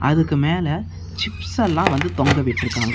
இதுக்கு மேல சிப்ஸ் எல்லா வந்து தொங்கவிட்டுருக்காங்க.